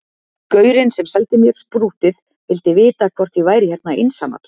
Gaurinn sem seldi mér sprúttið vildi vita hvort ég væri hérna einsamall